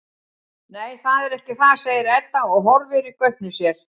Nei, það er ekki það, segir Edda og horfir í gaupnir sér.